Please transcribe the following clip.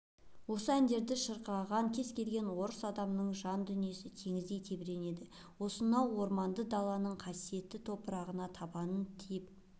осы әндерді шырқаған кез-келген орыс адамының жандүниесі теңіздей тебіренеді осынау орманды даланың қасиетті топырағына табаны тиіп